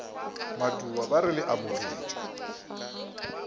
matuba ba re le amogetšwe